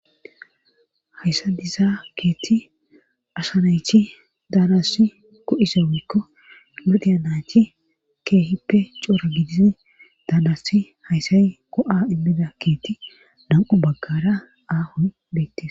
hayssa dizaa keethi asa nayti daanass ko7ise wikko nudheyanaychi keehippe coora gidizi daanasi hayssay ko7a immida keeti nam7u baggara aahon beettes